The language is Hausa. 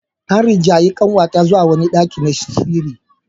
An rinjaye kanwata zuwa wani daki na sirri.